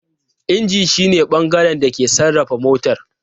Inji shi ne bangaren da ke sarrafa motar.